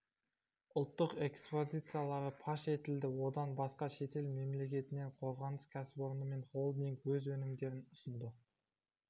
ұлттық экспозициялары паш етілді одан басқа шетел мемлекетінен қорғаныс кәсіпорны мен холдинг өз өнімдерін ұсынды